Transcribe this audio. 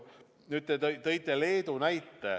Nüüd, te tõite Leedu näite.